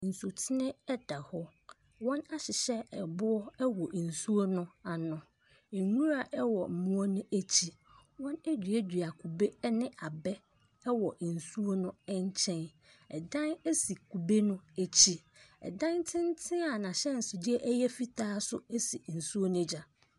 Nsutene da hɔ, wɔahyehyɛ aboɔ wɔ nsuo no ano, nwura wɔ mmoɔ no akyi. Wɔaduadua kube ne abɛ wɔ nsuo na nkyɛn. Dan si kube no akyi. Dan tenten a n’ahyɛnsodeɛ no yɛ fitaa nso si nsuo no agya.